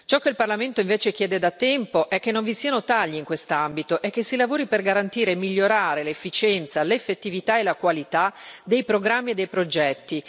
Ciò che il Parlamento invece chiede da tempo è che non vi siano tagli in quest'ambito e che si lavori per garantire e migliorare l'efficienza, l'effettività e la qualità dei programmi e dei progetti.